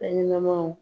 Fɛn ɲɛnɛmanw